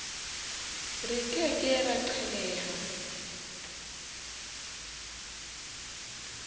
re ke ke ra qhelela